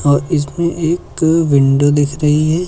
और इसमें एक विंडो दिख रही हैं।